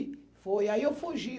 Foi, aí eu fugi.